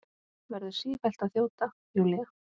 Verður sífellt að þjóta, Júlía.